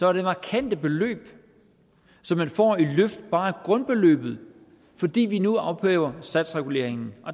er det markante beløb som man får i løft bare af grundbeløbet fordi vi nu ophæver satsreguleringen